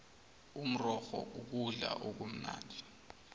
umrorho kukudla okumnandi